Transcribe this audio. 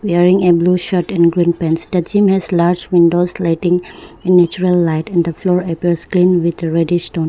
wearing a blue shirt and green pants the gym has large windows letting a natural light in the floor at the screen with a very reddish tone.